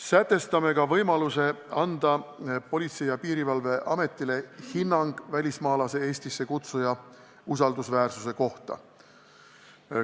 Samuti näeme Politsei- ja Piirivalveametile ette võimaluse anda hinnang välismaalase Eestisse kutsuja usaldusväärsuse kohta.